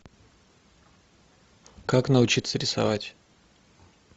как научиться рисовать